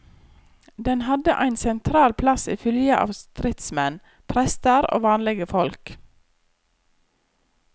Den hadde ein sentral plass i fylgje av stridsmenn, prestar og vanlege folk.